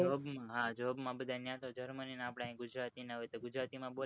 job માં બધા અહિયાં germany ના આપડે અહિયાં gujarati ના હોય તો gujarati માં બોલે